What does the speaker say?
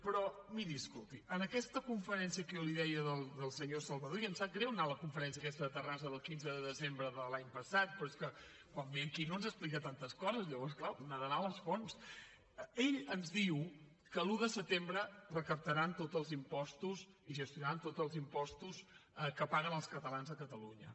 però miri escolti en aquesta conferència que jo li deia del senyor salvadó i em sap greu anar a la conferència aquesta de terrassa del quinze de desembre de l’any passat però és que quan ve aquí no ens explica tantes coses llavors clar una ha d’anar a les fonts ell ens diu que l’un de setembre recaptaran tots els impostos i gestionaran tots els impostos que paguen els catalans a catalunya